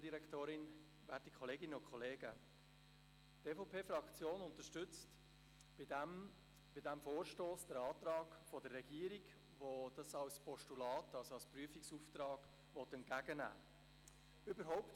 Die EVP-Fraktion unterstützt bei diesem Vorstoss den Antrag der Regierung, die ihn als Postulat, also als Prüfungsauftrag, entgegennehmen will.